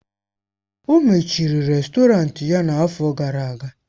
O mechiri rèstọrantị ya n'afọ gara aga.